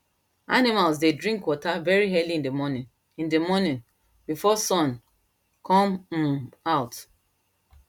animals dey drink water very early in the morning in the morning before sun come um out